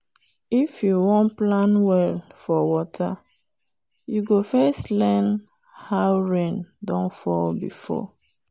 if you wan plan well for water you go first learn how rain don fall before.